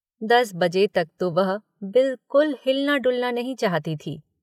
दस बजे तक तो वह बिल्कुल हिलना-डुलना नहीं चाहती थी।